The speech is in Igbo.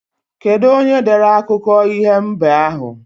Kedu onyere dere akụko iho mbe ahu